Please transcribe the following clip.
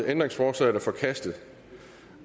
ændringsforslaget er forkastet